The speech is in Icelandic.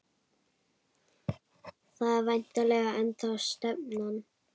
Það er væntanlega ennþá stefnan?